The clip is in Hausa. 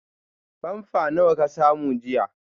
Pamper nawa ka samu jiya?